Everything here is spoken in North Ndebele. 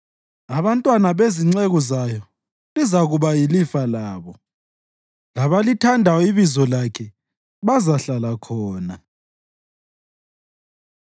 abantwana bezinceku zayo lizakuba yilifa labo, labalithandayo ibizo lakhe bazahlala khona.